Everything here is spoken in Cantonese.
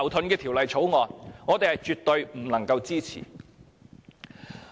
因此，我們絕不能夠支持。